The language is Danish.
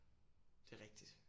Det er rigtigt